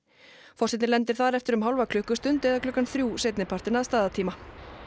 forsetinn lendir þar eftir um hálfa klukkustund eða klukkan þrjú seinni partinn að staðartíma